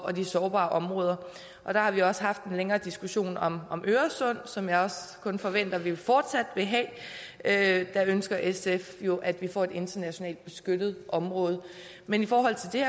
og de sårbare områder og der har vi også haft en længere diskussion om om øresund som jeg forventer vi fortsat vil have have der ønsker sf jo at vi får et internationalt beskyttet område men i forhold til